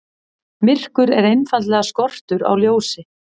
Myrkur er einfaldlega skortur á ljósi.